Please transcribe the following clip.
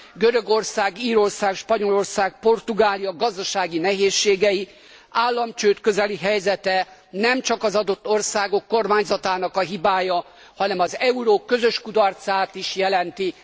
Görögország, Írország, Spanyolország, Portugália gazdasági nehézségei, államcsőd közeli helyzete nem csak az adott országok kormányzatának a hibája, hanem az euró közös kudarcát is jelenti.